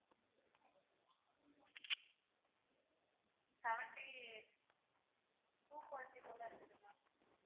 seventy two-forty போல இருக்குது ma'am